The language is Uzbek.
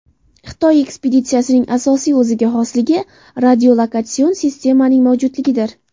Xitoy ekspeditsiyasining asosiy o‘ziga xosligi – radiolokatsion sistemaning mavjudligidir.